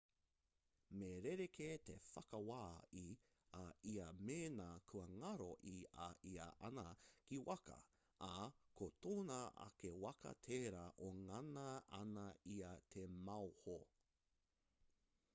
me rerekē te whakawā i a ia mēnā kua ngaro i a ia āna kī waka ā ko tōna ake waka tērā e ngana ana ia te maoho